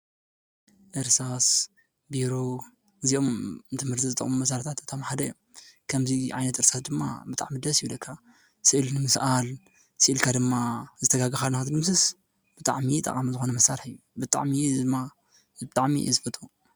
ጽሕፈት ማሳርሒ ንመጽሓፍትን ጽሑፍን ዝጥቀሙ ነገራት እዮም። ከም ቀለም፣ ፕን፣ እርሳስን ወረቐትን ይካተቱ። ጽሕፈት ማሳርሒ ትምህርትን ስራሕን ንምሕጋዝ ኣገዳሲ እዮም።